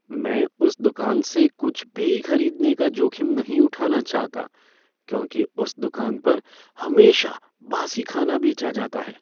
मैं उस दुकान से कुछ भी खरीदने का जोखिम नहीं उठाना चाहता क्योंकि उस दुकान पर हमेशा बासी खाना बेचा जाता है।